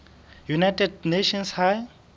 united nations high